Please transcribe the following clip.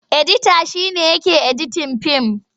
Edita shi ne yake editin fim.